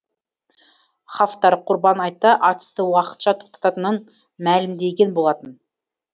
хафтар құрбан айтта атысты уақытша тоқтататынын мәлімдеген болатын